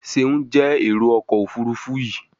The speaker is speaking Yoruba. Seun jé Èrò ọkọ̀ òfurufú yi.